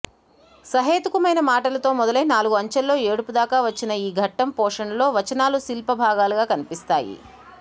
సహేతుకమైన మాటలతో మొదలై నాలుగు అంచెల్లో ఏడుపు దాకా వచ్చిన ఈ ఘట్టం పోషణలో వచనాలు శిల్పభాగాలుగా కనిపిస్తాయి